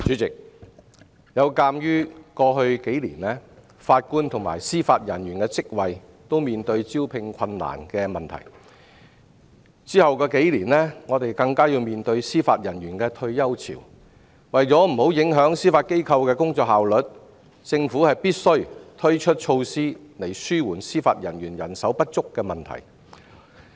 主席，鑒於過去數年法官及司法人員的職位均面對招聘困難的問題，隨後數年香港更要面對司法人員的退休潮，為免影響司法機構的工作效率，政府必須推出措施以紓緩司法人員人手不足的問題。